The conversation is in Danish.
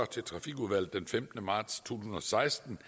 til trafikudvalget den femtende marts to tusind og seksten